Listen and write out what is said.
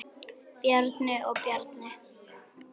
Bjarni og Bjarni